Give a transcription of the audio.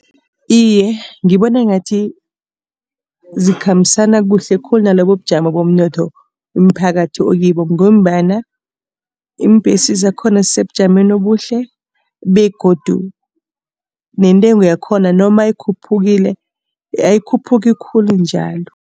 Iye, ngibona ngathi zikhambisana kuhle khulu nalobubujamo bomnotho umphakathi okibo. Ngombana iimbhesi zakhona zisebujameni obuhle begodu nentengo yakhona noma ikhuphukile ayikhuphuki khulu njalo.